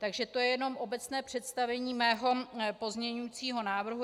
Takže to je jenom obecné představení mého pozměňovacího návrhu.